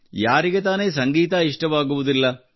ಯಾರಿಗೆ ತಾನೇ ಸಂಗೀತ ಷ್ಟವಾಗುವುದಿಲ್ಲ